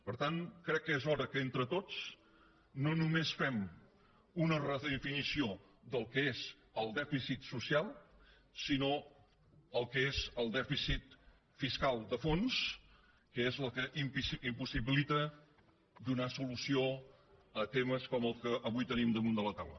per tant crec que és hora que entre tots no només fem una redefinició del que és el dèficit social sinó del que és el dèficit fiscal de fons que és el que impossibilita donar solució a temes com el que avui tenim damunt de la taula